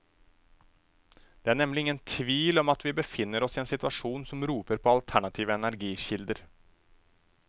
Det er nemlig ingen tvil om at vi befinner oss i en situasjon som roper på alternative energikilder.